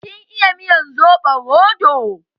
Kin iya miyar soɓo roɗo?